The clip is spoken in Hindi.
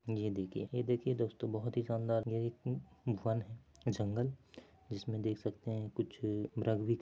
ये देखिए ये देखिए दोस्तों बहोत ही शानदार एक वन है जंगल जिसमे देख सकते हैं कुछ --]